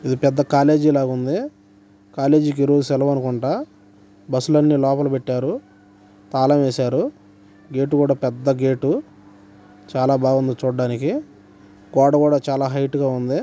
ఇది పెద్ద కాలేజీ లాగా ఉంది కాలేజీ కి సెలవు అనుకుంటా బస్ లాన్ని లోపల పెట్టారు తాళం వేసారు గెట్ కూడా పెద్ద గెట్ చాలా బాగుంది చూడానికి గోడ కూడా చాలా హైట్ గా ఉంది